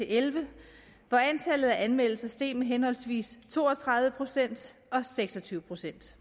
elleve hvor antallet af anmeldelser steg med henholdsvis to og tredive procent og seks og tyve procent